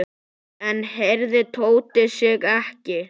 Enn hreyfði Tóti sig ekki.